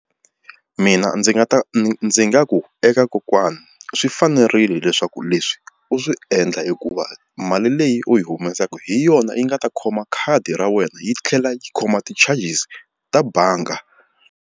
Mina ndzi nga ta ndzi nga ku eka kokwana swi fanerile leswaku leswi u swi endla hikuva mali leyi u yi humesaku hi yona yi nga ta khoma khadi ra wena yi tlhela yi khoma ti-charges ta bangi.